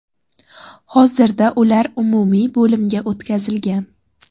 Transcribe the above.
Hozirda ular umumiy bo‘limga o‘tkazilgan.